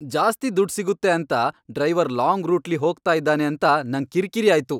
ಜಾಸ್ತಿ ದುಡ್ ಸಿಗುತ್ತೆ ಅಂತ ಡ್ರೈವರ್ ಲಾಂಗ್ ರೂಟ್ಲಿ ಹೋಗ್ತಾ ಇದ್ದಾನೆ ಅಂತ ನಂಗ್ ಕಿರ್ಕಿರಿ ಆಯ್ತು.